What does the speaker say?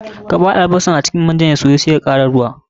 Kabar albasar a cikin manyan ya soyu sai ka kara ruwa.